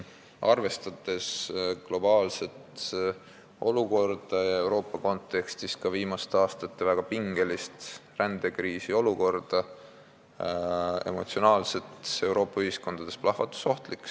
Arvestades globaalset olukorda ja ka viimaste aastate väga pingelist rändekriisi Euroopa kontekstis, on see Euroopa ühiskondades emotsionaalne ja plahvatusohtlik teema.